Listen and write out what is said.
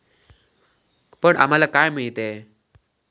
पण आम्हाला काय मिळतेय?